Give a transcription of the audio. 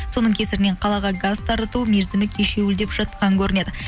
соның кесірінен қалаға газ тарату мерзімі кешуілдеп жатқан көрінеді